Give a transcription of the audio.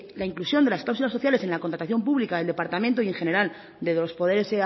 la inclusión de las cláusulas sociales en la contratación pública del departamento y en general de los poderes